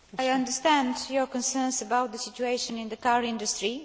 I understand your concerns about the situation in the car industry.